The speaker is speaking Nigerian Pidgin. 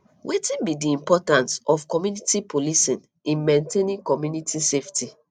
wetin be di importance of community policing in maintaining community safety